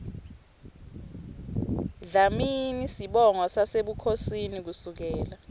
dlamini sibongo sasebukhosini kusukela